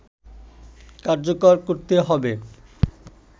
কার্যকর করতে হবে